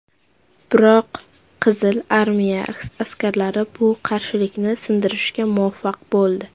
Biroq Qizil Armiya askarlari bu qarshilikni sindirishga muvaffaq bo‘ldi.